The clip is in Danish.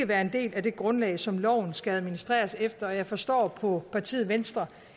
være en del af det grundlag som loven skal administreres efter og jeg forstår på partiet venstre